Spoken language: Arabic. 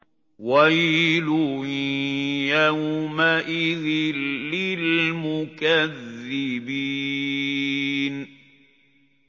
وَيْلٌ يَوْمَئِذٍ لِّلْمُكَذِّبِينَ